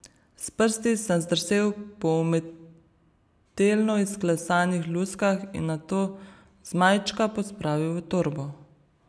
S prsti sem zdrsel po umetelno izklesanih luskah in nato zmajčka pospravil v torbo.